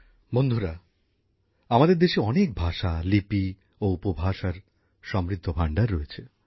বন্ধুরা আমাদের দেশে অনেক ভাষা লিপি ও উপভাষার সমৃদ্ধ ভান্ডার রয়েছে